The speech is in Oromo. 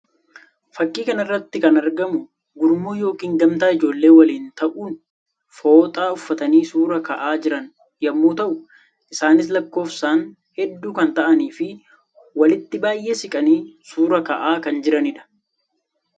Fakkii kana irratti kan argamu gurmuu yookiin gamtaa ijoollee waliin ta'uun fooxaa uffatanii suuraa ka'aa jiran yammuu ta'u; isaannis lakkóofsaan hedduu kan ta'anii fi walitti baayyee siqanii suuraa ka'aa kan jiranii dha.